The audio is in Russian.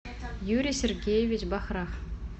юрий сергеевич бахра